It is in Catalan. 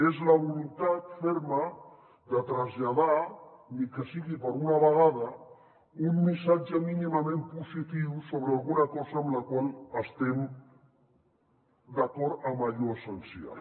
és la voluntat ferma de traslladar ni que sigui per una vegada un missatge mínimament positiu sobre alguna cosa amb la qual estem d’acord en allò essencial